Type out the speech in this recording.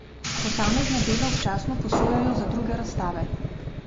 Posamezna dela občasno posojajo za druge razstave.